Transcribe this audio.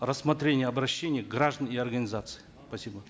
рассмотрение обращений граждан и организаций спасибо